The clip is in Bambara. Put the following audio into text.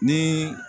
Ni